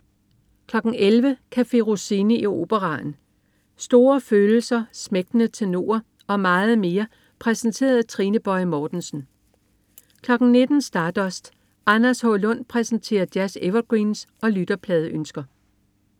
11.00 Café Rossini i operaen. Store følelser, smægtende tenorer og meget mere præsenteret af Trine Boje Mortensen 19.00 Stardust. Anders H. Lund præsenterer jazz-evergreens og lytterpladeønsker